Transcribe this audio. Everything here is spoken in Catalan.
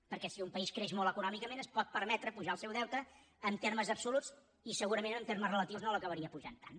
perquè si un país creix molt econòmicament es pot permetre pujar el seu deute en termes absoluts i segurament en termes relatius no l’acabaria pujant tant